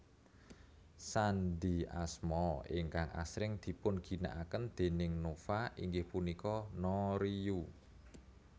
Sandhi asma ingkang asring dipunginakaken déning Nova inggih punika NoRiYu